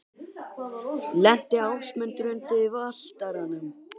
Lenti Ásmundur undir Valtaranum?